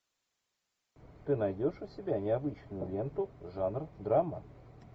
ты найдешь у себя необычную ленту жанр драма